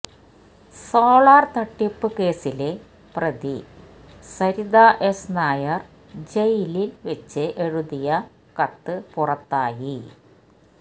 solar തട്ടിപ്പ് കേസിലെ പ്രതി സരിത എസ് നായര് ജയിലില് വെച്ച് എഴുതിയ കത്ത് പുറത്തായി